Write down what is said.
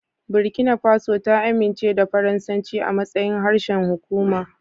Burkina Faso ta amince da Faransanci a matsayin harshen hukuma.